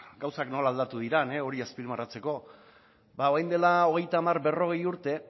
gauzak nola aldatu diren hori azpimarratzeko ba orain dela hogeita hamar berrogei urte